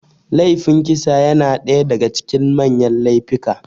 Laifin kisa yana ɗaya daga cikin manyan laifika